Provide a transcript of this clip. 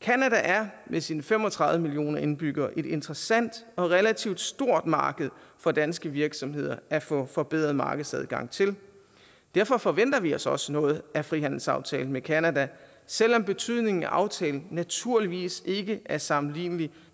canada er med sine fem og tredive millioner indbyggere et interessant og relativt stort marked for danske virksomheder at få forbedret markedsadgang til derfor forventer vi os også noget af frihandelsaftalen med canada selv om betydningen af aftalen naturligvis ikke er sammenlignelig